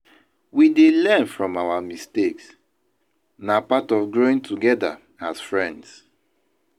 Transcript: We dey learn from our mistakes; na part of growing together as friends.